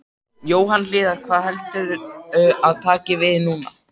Jóhann Hlíðar: Hvað heldurðu að taki við núna?